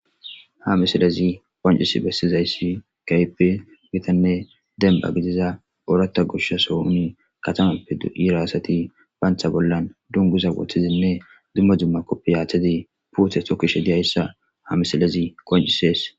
Ha misilezi qoncisi besizaysa kehippe gittanne demba gidiza orata goshason katamappe de'iya asati bancha bollan dungiza wotidinne duma duma kopiyateti putte tokiyasa ha misiles qoncisese